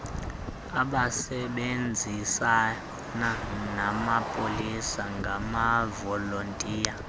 abasebenzisana namapolisa ngamavolontiya